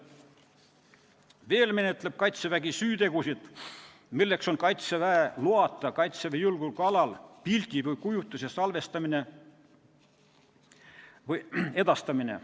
Veel menetleb Kaitsevägi süütegusid, milleks on Kaitseväe loata Kaitseväe julgeolekualal pildi või kujutise salvestamine või edastamine.